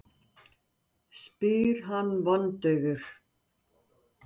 spyr hann vondaufur.